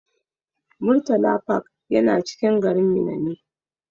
Murtala park yana cikin garin Minna ne.